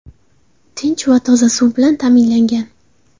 Tinch va toza suv bilan ta’minlangan.